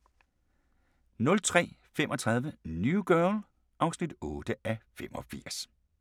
03:35: New Girl (8:85)